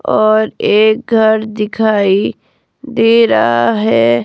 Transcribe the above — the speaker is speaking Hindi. और एक घर दिखाई दे रहा है।